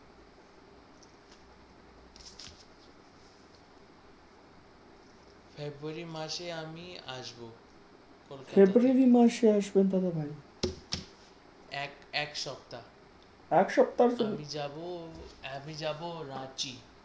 february মাসে আমি আসবো কলকাতায় february মাসে আসবেন দাদা ভাই? এক সপ্তা এক সপ্তা আমি যাব আমি যাব রাঁচি ।